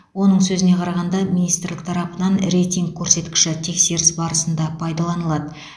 оның сөзіне қарағанда министрлік тарапынан рейтинг көрсеткіші тексеріс барысында пайдаланылады